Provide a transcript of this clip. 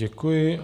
Děkuji.